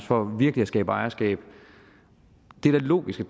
for virkelig at skabe ejerskab det er da logisk at